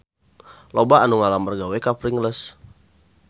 Loba anu ngalamar gawe ka Pringles